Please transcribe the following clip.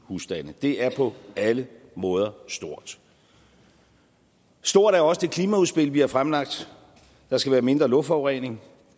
husstande det er på alle måder stort stort er også det klimaudspil vi har fremlagt der skal være mindre luftforurening